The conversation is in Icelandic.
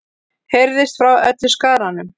heyrðist frá öllum skaranum.